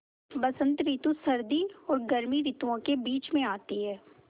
बसंत रितु सर्दी और गर्मी रितुवो के बीच मे आती हैँ